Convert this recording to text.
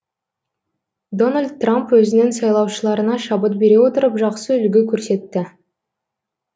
дональд трамп өзінің сайлаушыларына шабыт бере отырып жақсы үлгі көрсетті